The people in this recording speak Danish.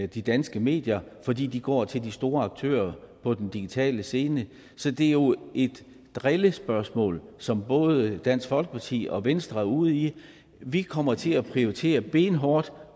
de danske medier fordi de går til de store aktører på den digitale scene så det er jo et drillespørgsmål som både dansk folkeparti og venstre er ude i vi kommer til at prioritere benhårdt